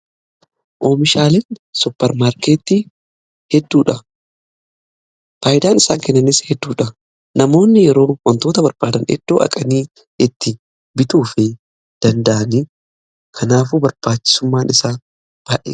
Oomishaaleen supparmaarkeeti hedduudha. Faayidaan isaan kennanis hedduudha. Namoonni yeroo wantoota barbaadan eddoo dhaqanii itti bituu fi danda'anii kanaafuu barbaachisummaan isaa baay'eedha.